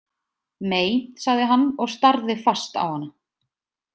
Mei, sagði hann og starði fast á hana.